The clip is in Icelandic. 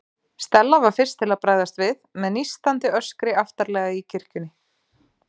Stella var fyrst til að bregðast við, með nístandi öskri aftarlega í kirkjunni.